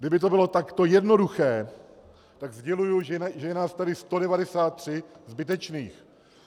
Kdyby to bylo takto jednoduché, tak sděluji, že je nás tady 193 zbytečných.